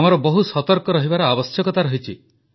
ଆମକୁ ବହୁ ସତର୍କ ରହିବାର ଆବଶ୍ୟକତା ରହିଛି